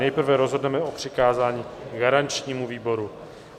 Nejprve rozhodneme o přikázání garančnímu výboru.